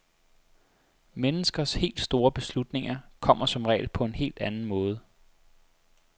Menneskers helt store beslutninger kommer som regel på en helt anden måde.